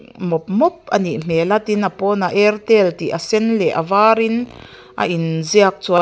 mawp mawp anih hmel a tin a pawnah airtel tih a sen leh a var in a ziak--